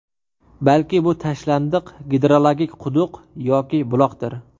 Balki bu tashlandiq gidrologik quduq yoki buloqdir.